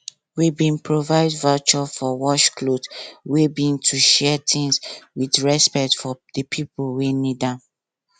we bin provide voucher for wash cloth wey be to share things with respect for di pipo wey need am